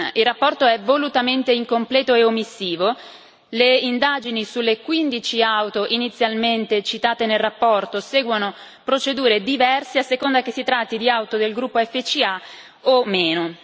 Il rapporto è volutamente incompleto e omissivo le indagini sulle 15 auto inizialmente citate nel rapporto seguono procedure diverse a seconda che si tratti di auto del gruppo FCA o meno